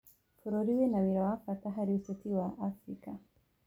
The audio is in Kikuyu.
Bũrũri wĩna wĩra wa bata harĩ ũteti wa Abirika.